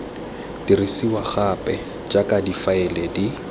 dirisiwa gape jaaka difaele di